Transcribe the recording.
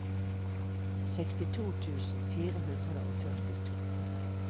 sekstito tusen fire hundre og førtito